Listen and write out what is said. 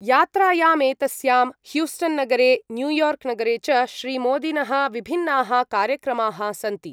यात्रायामेतस्यां ह्यूस्टन्नगरे न्यूयार्क्नगरे च श्रीमोदिनः विभिन्नाः कार्यक्रमाः सन्ति।